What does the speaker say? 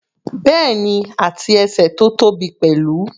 Bẹ́ẹ̀ni, àti ẹsẹ̀ tó tóbi pẹ̀lú.